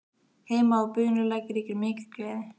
Heima á Bunulæk ríkir mikil gleði.